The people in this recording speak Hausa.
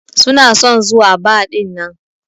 Suna son zuwa bar dinnan.